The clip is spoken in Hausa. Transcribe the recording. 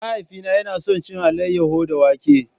Mahaifina yana son cin alayyahu da wake.